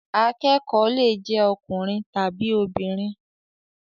Akẹ́kọ̀ọ́ lè jé ọkùnrin tàbí obìnrin.